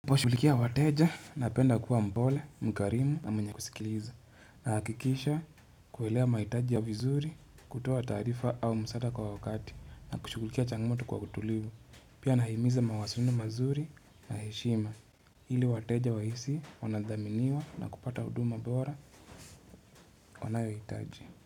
Ninapo shughulikia wateja na penda kuwa mpole, mkarimu na mwenye kusikiliza na hakikisha kuelewa mahitaji yao vizuri, kutoa taarifa au msaada kwa wakati na kushugulikia changmoto kwa utulivu Pia nahimiza mawasiliano mazuri na heshima ili wateja wahisi wanadhaminiwa na kupata huduma bora wanayo hitaji.